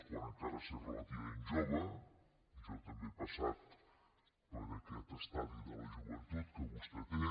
quan encara s’és relativament jove jo també he passat per aquest estadi de la joventut que vostè té